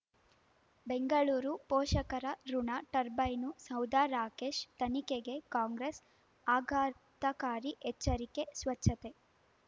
ಬೆಂಗಳೂರು ಪೋಷಕರಋಣ ಟರ್ಬೈನು ಸೌಧ ರಾಕೇಶ್ ತನಿಖೆಗೆ ಕಾಂಗ್ರೆಸ್ ಆಘಾತಕಾರಿ ಎಚ್ಚರಿಕೆ ಸ್ವಚ್ಛತೆ